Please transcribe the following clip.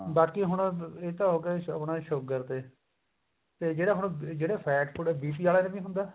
ਬਾਕੀ ਹੁਣ ਇਹ ਤਾਂ ਹੋਗੀ ਆਪਣੇ sugar ਦੇ ਤੇ ਜਿਹੜਾ ਹੁਣ ਜਿਹੜਾ fat ਉਹ BP ਆਲਾ ਨੀ ਹੁੰਦਾ